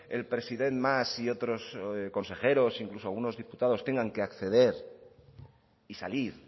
el president mas y otros consejeros incluso algunos diputados tengan que acceder y salir